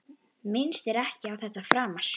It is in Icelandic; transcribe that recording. Minnist ekki á þetta framar.